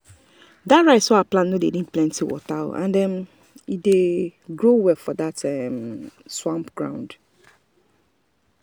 the rice wey i plant no dey need plenty water and e um dey um grow well for that soft um swamp ground.